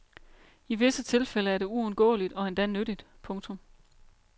I visse tilfælde er det uundgåeligt og endda nyttigt. punktum